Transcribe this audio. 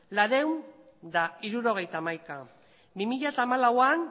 laurehun eta hirurogeita hamaika bi mila hamalauan